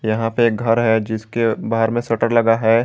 यहां पे घर है जिसके बाहर में शटर लगा है।